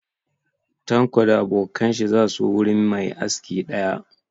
Tanko da abokan shi za su wurin mai aski ɗaya